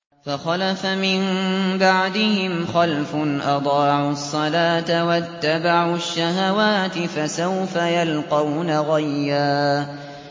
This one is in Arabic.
۞ فَخَلَفَ مِن بَعْدِهِمْ خَلْفٌ أَضَاعُوا الصَّلَاةَ وَاتَّبَعُوا الشَّهَوَاتِ ۖ فَسَوْفَ يَلْقَوْنَ غَيًّا